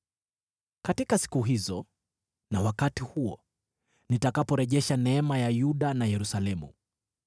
“Katika siku hizo na wakati huo, nitakaporejesha neema ya Yuda na Yerusalemu,